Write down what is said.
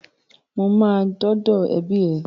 Mo máa dọ́dọ̀ ẹbí ẹ.